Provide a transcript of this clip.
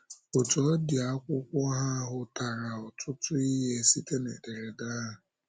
Otú ọ dị, akwụkwọ ha hụtara ọtụtụ ihe site na ederede ahụ.